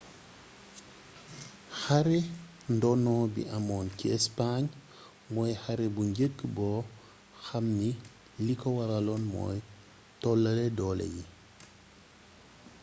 xare ndono bi amoon ci espagne mooy xare bu njëkk bo xam ni liko waralon mooy tollale doole yi